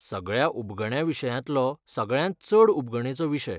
सगळ्या उबगण्या विशयांतलो सगळ्यांत चड उबगणेचो विशय.